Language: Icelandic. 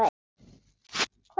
Hver er það?